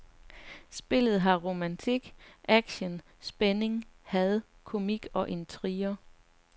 Spillet har romantik, aktion, spænding, had, komik og intriger.